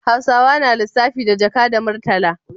Hausawa na lissafi da jaka da murtala